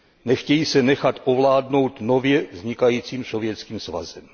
Nechtějí se nechat ovládnout nově vznikajícím Sovětským svazem.